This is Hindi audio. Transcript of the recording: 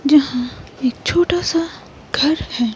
जहां एक छोटा सा घर है।